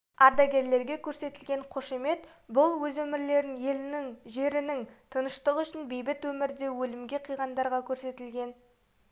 ардагерлерге көрсетілген қошемет бұл өз өмірлерін елінің жерінің тыныштығы үшін бейбіт өмірде өлімге қиғандарға көрсетілген